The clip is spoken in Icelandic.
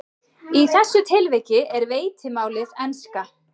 Í þessu tilviki er veitimálið enska.